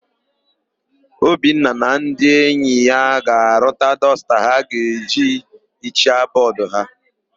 Obinna na ndị enyi ya ga-arụta dọsta ha ga-eji hichaa bọọdụ ha.